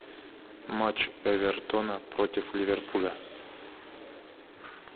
матч эвертона против ливерпуля